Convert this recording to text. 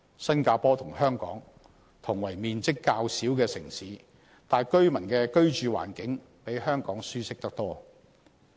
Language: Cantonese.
新加坡雖與香港同為面積較小的城市，但居民的居住環境比香港舒適得多。